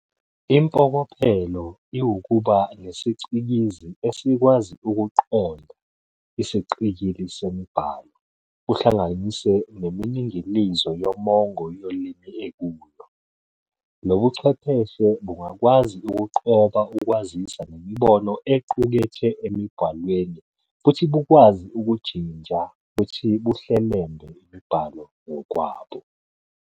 Impokophelo iwukuba nesicikizi esikwazi "ukuqonda" isiqikili semibhalo, kuhlanganise neminingilizo yomongo yolimi ekuyo. Lobuchwepheshe bungakwazi ukugqoba ukwaziswa nemibono equkethwe emibhalweni futhi bukwazi ukujinja futhi buhlelembe imibhalo ngokwabo.